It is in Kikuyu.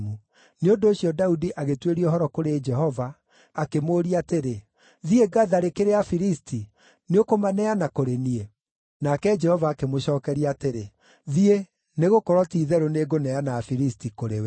nĩ ũndũ ũcio Daudi agĩtuĩria ũhoro kũrĩ Jehova, akĩmũũria atĩrĩ, “Thiĩ ngatharĩkĩre Afilisti? Nĩũkũmaneana kũrĩ niĩ?” Nake Jehova akĩmũcookeria atĩrĩ, “Thiĩ, nĩgũkorwo ti-itherũ nĩ ngũneana Afilisti kũrĩ we.”